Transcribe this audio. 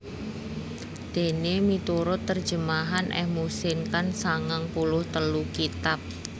Déné miturut terjemahan M Muhsin Khan sangang puluh telu kitab